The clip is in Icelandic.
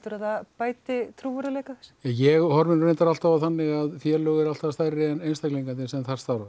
bætir trúverðugleika ég horfi alltaf á það þannig að félög eru alltaf stærri en einstaklingarnir sem þar starfa